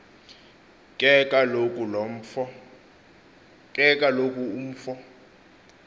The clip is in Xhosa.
ke kaloku umfo